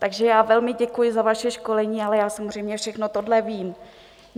Takže já velmi děkuji za vaše školení, ale já samozřejmě všechno tohle vím.